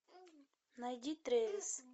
найди трэвис